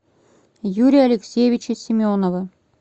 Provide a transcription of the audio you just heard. юрия алексеевича семенова